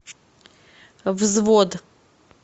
взвод